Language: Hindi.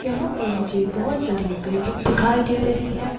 यहां पर मुझे बहुत बड़ी बिल्डिंग दिखाई दे रही है।